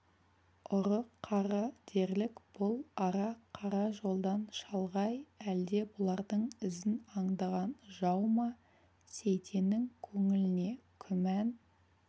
ұры-қары дерлік бұл ара қара жолдан шалғай әлде бұлардың ізін аңдыған жау ма сейтеннің көңіліне күмән